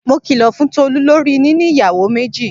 Mo kìlò fún Tolú lorí níní ìyàwó méjì.